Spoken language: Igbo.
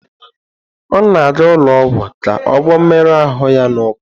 Ọ na-aga ụlọ ọgwụ ka ọ gwọọ mmerụ ahụ ya n'ụkwụ.